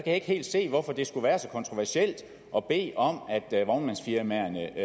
ikke helt se hvorfor det skulle være så kontroversielt at bede om at vognmandsfirmaer lader